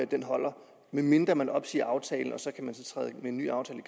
den holder medmindre man opsiger aftalen og der så kan træde en ny aftale